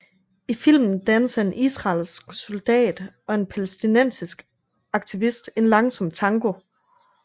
I filmen danser en israelsk soldat og en palæstinensisk aktivist en langsom tango